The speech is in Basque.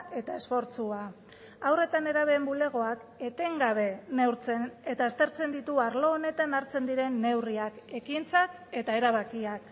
eta esfortzua haur eta nerabeen bulegoak etengabe neurtzen eta aztertzen ditu arlo honetan artzen diren neurriak ekintzak eta erabakiak